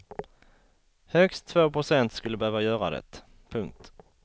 Högst två procent skulle behöva göra det. punkt